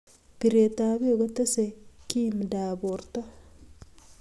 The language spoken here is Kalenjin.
piretap pek kotesei kimindap porto